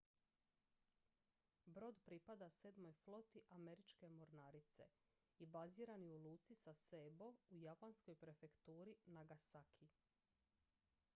brod pripada sedmoj floti američke mornarice i baziran je u luci sasebo u japanskoj prefekturi nagasaki